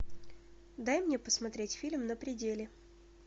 дай мне посмотреть фильм на пределе